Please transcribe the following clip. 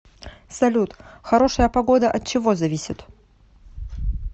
салют хорошая погода от чего зависит